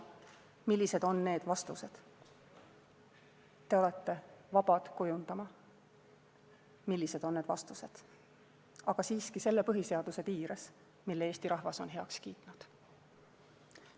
Te olete vabad kujundama, millised on need vastused – aga siiski selle põhiseaduse piires, mille Eesti rahvas on heaks kiitnud.